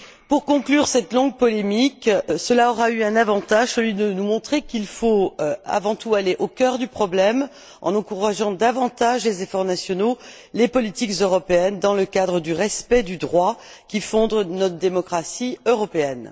Pour conclure cette longue polémique, cela aura eu un avantage, celui de nous montrer qu'il faut avant tout aller au cœur du problème, en encourageant davantage les efforts nationaux, les politiques européennes dans le cadre du respect du droit qui fonde notre démocratie européenne.